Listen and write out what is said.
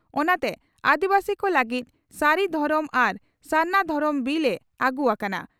ᱚᱱᱟᱛᱮ ᱟᱹᱫᱤᱵᱟᱹᱥᱤ ᱠᱚ ᱞᱟᱹᱜᱤᱫ ᱥᱟᱨᱤ ᱫᱷᱚᱨᱚᱢ ᱟᱨ ᱥᱟᱨᱱᱟ ᱫᱷᱚᱨᱚᱢ ᱵᱤᱞ ᱮ ᱟᱹᱜᱩ ᱟᱠᱟᱱᱟ ᱾